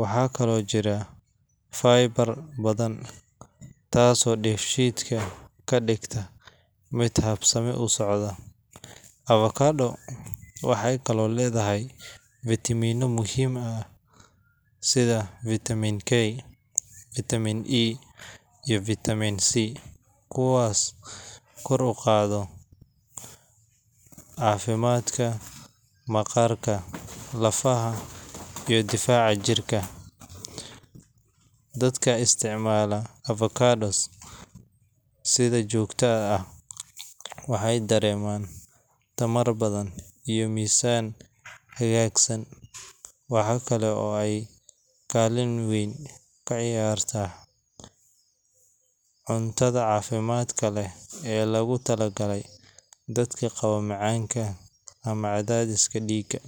Waxaa kaloo ku jira fiber badan, taasoo dheefshiidka ka dhigta mid habsami u socda. Avocado waxay kaloo leedahay fitamiinno muhiim ah sida Vitamin K, Vitamin E, iyo Vitamin C, kuwaasoo kor u qaada caafimaadka maqaarka, lafaha, iyo difaaca jirka. Dadka isticmaala avocado si joogto ah waxay dareemaan tamar badan iyo miisaan hagaagsan. Waxa kale oo ay kaalin weyn ka ciyaartaa cuntada caafimaadka leh ee loogu talagalay dadka qaba macaanka ama cadaadiska dhiigga.